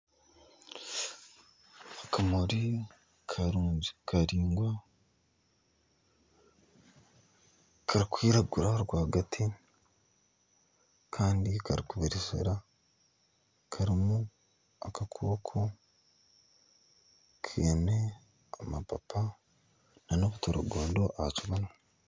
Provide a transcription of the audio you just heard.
Akamuri karungi karaingwa karikwiragura rwagati Kandi karikubereshera karimu akakooko kaine amapapa nana obutaragondo ahakibunu